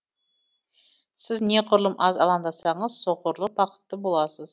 сіз неғұрлым аз алаңдасаңыз соғұрлым бақытты боласыз